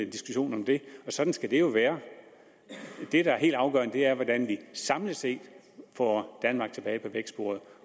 diskussion om det og sådan skal det jo være det der er helt afgørende er hvordan vi samlet set får danmark tilbage på vækstsporet